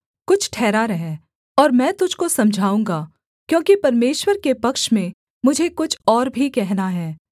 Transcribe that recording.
कुछ ठहरा रह और मैं तुझको समझाऊँगा क्योंकि परमेश्वर के पक्ष में मुझे कुछ और भी कहना है